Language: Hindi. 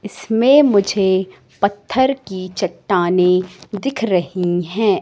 इसमें मुझे पत्थर की चट्टाने दिख रही हैं।